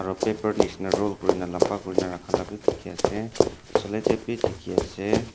paper nishena roll kuri na lamba kuri na rakha la dikhi ase cellotape b dikhi ase.